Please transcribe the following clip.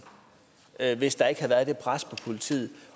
at hvis der ikke havde været det pres på politiet